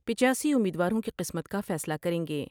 پچاسی امیدواروں کی قسمت کا فیصلہ کر یں گے ۔